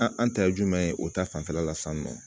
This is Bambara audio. An an ta ye jumɛn ye o ta fanfɛla la sisan nɔ